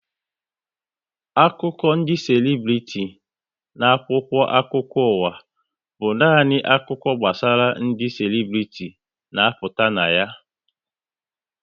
Akụkụ ndị selibriti na akwụkwọ akụkọ ụwa bụ nani akụkọ gbasara ndị selibriti na-apụta na ya